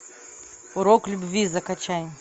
урок любви закачай